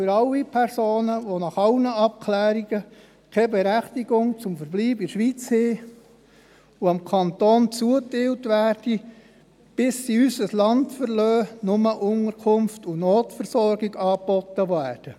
Allen Personen, die nach allen Abklärungen keine Berechtigung zum Verbleib in der Schweiz haben und dem Kanton zugeteilt werden, bis sie unser Land verlassen, sollen nur Unterkunft und Notversorgung angeboten werden.